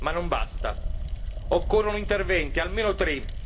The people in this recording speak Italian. Ma non basta occorrono interventi, almeno tre.